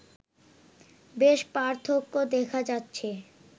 বেশ পার্থক্য দেখা যাচ্ছে